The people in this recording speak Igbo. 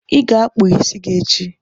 ị ga-akpụ isi gị echi!